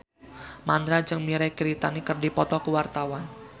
Mandra jeung Mirei Kiritani keur dipoto ku wartawan